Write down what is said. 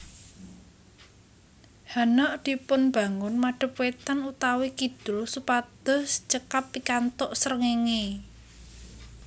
Hanok dipunbangun madep wétan utawi kidul supados cekap pikantuk srengéngé